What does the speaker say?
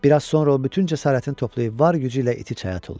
Bir az sonra o bütün cəsarətini toplayıb var gücü ilə iti çaya tullayır.